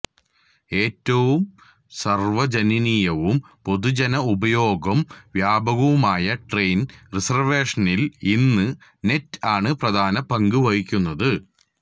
ഏറ്റവും സാർവ്വജനനീയവും പൊതുജന ഉപയോഗം വ്യാപകവുമായ ട്രെയിൻ റിസർവേഷനില് ഇന്ന് നെറ്റ് ആണ് പ്രധാന പങ്ക് വഹിക്കുന്നത്